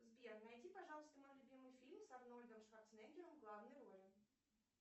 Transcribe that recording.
сбер найди пожалуйста мой любимый фильм с арнольдом шварценеггером в главной роли